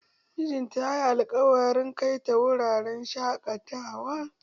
Mijinta ya yi alkawarin kai ta wuraren shaƙatawa.